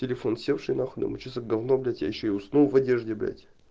телефон севший нахуй думаю что за говно блять я ещё и уснул в одежде блять